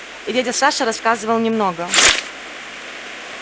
и дядя саша рассказывал немного